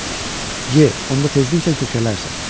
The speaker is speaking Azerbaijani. Y, onda tezliklə kökələrsən.